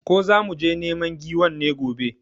Ko zamu je neman giwan ne gobe?